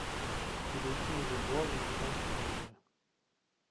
переведи мне бальбоа в американские доллары